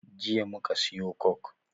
Jiya muka siyo coke